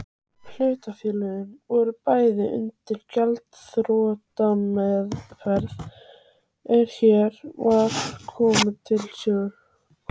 Hlutafélögin voru bæði undir gjaldþrotameðferð er hér var komið sögu.